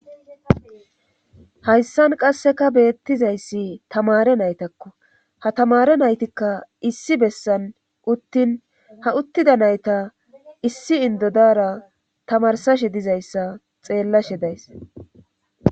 Hayssan qasseka beettizayssi tamare naytakko ha tamare naytikka issi bessan uttin ha uttida nayta issi indodara tamarsashe dizayssa xeellashe days